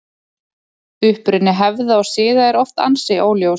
Uppruni hefða og siða er oft ansi óljós.